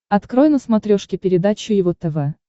открой на смотрешке передачу его тв